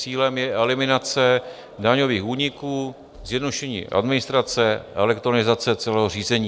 Cílem je eliminace daňových úniků, zjednodušení administrace a elektronizace celého řízení.